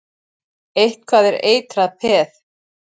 Eitthvað er eitrað peð